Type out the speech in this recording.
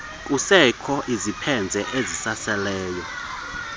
kusekho izipheze ezisaseleyo